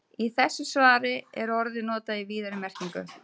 Í þessu svari er orðið notað í víðari merkingunni.